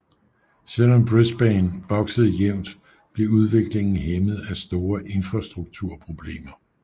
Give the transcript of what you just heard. Selv om Brisbane voksede jævnt blev udviklingen hæmmet af store infrastrukturproblemer